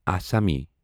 اسامسیٖز